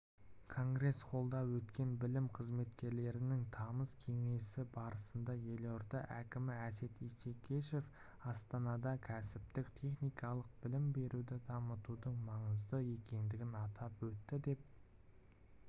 конгресс-холлда өткен білім қызметкерлерінің тамыз кеңесі барысында елорда әкімі әсет исекешев астанада кәсіптік-техникалық білім беруді дамытудың маңызды екендігін атап өтті деп